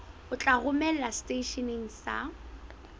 o tla romelwa seteisheneng sa